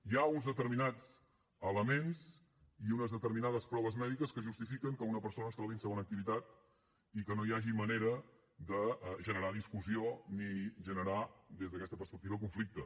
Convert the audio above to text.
hi ha uns determinats elements i unes determinades proves mèdiques que justifiquen que una persona es trobi en segona activitat i que no hi hagi manera de generar discussió ni generar des d’aquesta perspectiva conflicte